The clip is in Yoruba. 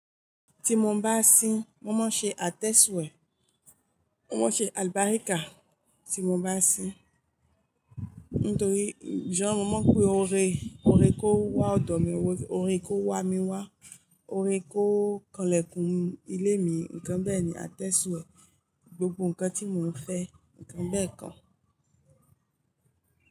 Ti mo ń bá sín, mo maa n se Atẹ́sùwé, mo máa n ṣe alubarika tí mo bá sín. Nítorí, jo mọ máa pé óre, óre kó wá ọ̀dọ̀ mi wá, óre kó wá mi wá, óre kó kanlẹ̀kùn ilé mi. Nǹkan bẹ́ẹ̀ ni Atẹ́sùwé, gbogbo nǹkan tí mò ń fẹ́, nǹkan bẹ́ kan.